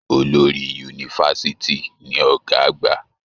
Olórí yunifásítì ní Ọgá àgbà.